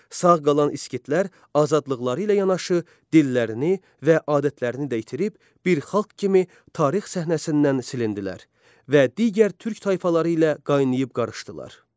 Sağ qalan İskitlər azadlıqları ilə yanaşı, dillərini və adətlərini də itirib bir xalq kimi tarix səhnəsindən silindilər və digər türk tayfaları ilə qaynayıb qarışdılar.